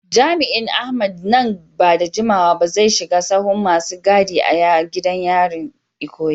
Jami’in Ahmed, nan ba da jimawa ba zai shiga sahun masu gadi a gidan yarin Ikoyi.